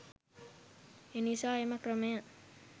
එනිසා එම ක්‍රමය